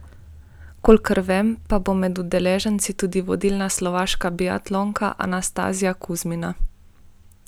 Kolikor vem, pa bo med udeleženci tudi vodilna slovaška biatlonka Anastazija Kuzmina.